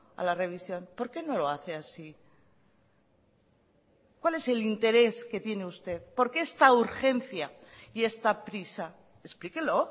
a la revisión por qué no lo hace así cuál es el interés que tiene usted por qué esta urgencia y esta prisa explíquelo